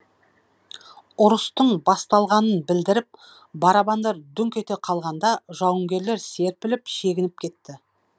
ұрыстың басталғанын білдіріп барабандар дүңк ете қалғанда жауынгерлер серпіліп шегініп кетті